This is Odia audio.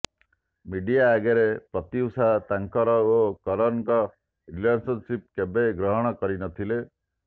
ମିଡିଆ ଆଗରେ ପ୍ରତ୍ୟୁଷା ତାଙ୍କର ଓ କରନଙ୍କ ରିଲେସନଶିପ କେବେ ଗ୍ରହଣ କରିନଥିଲେ